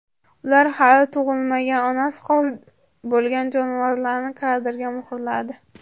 Ular hali tug‘ilmagan, onasi qornida bo‘lgan jonivorlarni kadrga muhrladi.